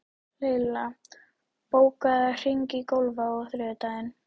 Laila, bókaðu hring í golf á þriðjudaginn.